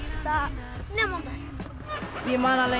nemendur ég man alveg